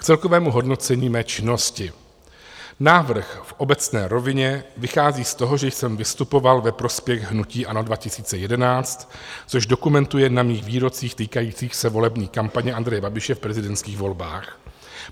K celkovému hodnocení mé činnosti: návrh v obecné rovině vychází z toho, že jsem vystupoval ve prospěch hnutí ANO 2011, což dokumentuje na mých výrocích týkajících se volební kampaně Andreje Babiše v prezidentských volbách.